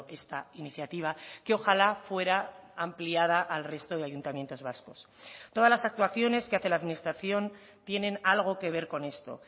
esta iniciativa que ojalá fuera ampliada al resto de ayuntamientos vascos todas las actuaciones que hace la administración tienen algo que ver con esto